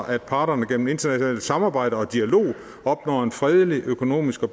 at parterne gennem internationalt samarbejde og dialog opnår en fredelig økonomisk og